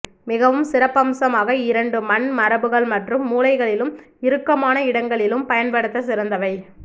மிகவும் சிறப்பம்சமாக இரண்டு மண் மரபுகள் மற்றும் மூலைகளிலும் இறுக்கமான இடங்களிலும் பயன்படுத்த சிறந்தவை